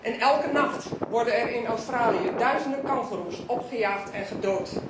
en elke nacht worden er in Australië duizenden kangoeroes opgejaagd en gedood.